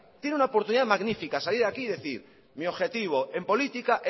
tiene una oportunidad magnífica salir aquí y decir mi objetivo en política